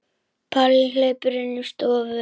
Palli hleypur inn í stofu.